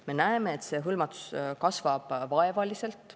Me näeme, et see hõlmatus kasvab vaevaliselt.